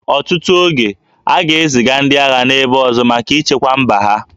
Ọtụtụ oge, a ga-eziga ndị agha n'ebe ọzọ maka ichekwa mba ha